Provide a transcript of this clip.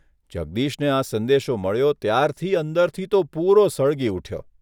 જગદીશને આ સંદેશો મળ્યો ત્યારથી અંદરથી તો પૂરો સળગી ઊઠ્યો.